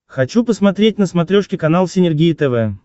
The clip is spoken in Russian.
хочу посмотреть на смотрешке канал синергия тв